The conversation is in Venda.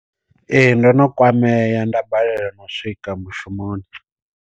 Ee ndo no kwameya nda balelwa no u swika mushumoni.